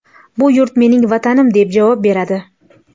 Bu yurt mening Vatanim”, deb javob beradi.